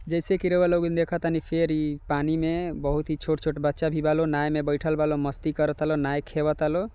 जैसे कि रोवा लोगिन देखा तानी फेर इ पानी में बहुत छोट-छोट बच्चा भी बालो नाय में बैठल बालो मस्ती करे तालो नाय खेवे तालो।